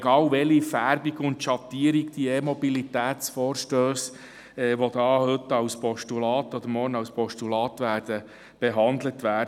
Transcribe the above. Egal welcher Färbung und Schattierung die E-Mobilitäts-Vorstösse sind, die heute oder morgen als Postulate behandelt werden: